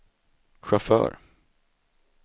chaufför